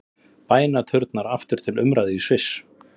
Bænaturnar aftur til umræðu í Sviss